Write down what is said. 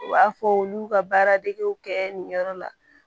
U b'a fɔ olu y'u ka baara degiw kɛ nin yɔrɔ la